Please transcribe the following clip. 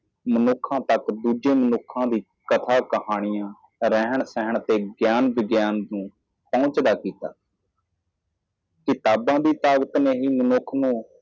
ਆਦਮੀ ਨੂੰ ਆਦਮੀ ਕਲਪਨਾ ਕਹਾਣੀਆਂ ਵਿਗਿਆਨ ਪ੍ਰਤੀ ਸੁਚੇਤ ਅਤੇ ਸੁਚੇਤ ਰਹੋ ਪੰਜਵਾਂ ਕੀਤਾ ਕਿਤਾਬਾਂ ਦੀ ਤਾਕਤ ਨੇ ਮਨੁੱਖ ਨੂੰ ਦਿੱਤਾ ਹੈ